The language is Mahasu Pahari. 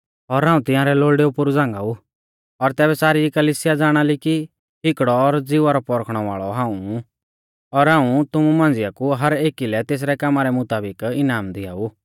और हाऊं तिंआरै लोल़डै पोरु झ़ांगाऊ और तैबै सारी कलिसिया ज़ाणा ली कि हिकड़ौ और ज़िवा रौ परखणै वाल़ौ हाऊं ऊ और हाऊं तुमु मांझ़िआ कु हर एकी लै तेसरै कामा रै मुताबिक इनाम दिआऊ